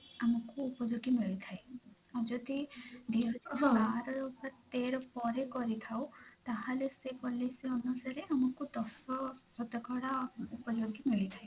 ଆମକୁ ଉପଯୋଗୀ ମିଳିଥାଏ ଆଉ ଯଦି ଦି ହଁ ବାର କି ତେର ପରେ କରିଥାଉ ତାହେଲେ ସେ policy ଅନୁସାରେ ଆମକୁ ଦଶ ଶତକଡା ଉପଯୋଗି ମିଳିଥାଏ